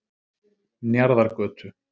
Njarðargötu